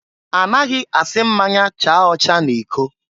Anaghị asị mmanya chaa ọcha n'iko.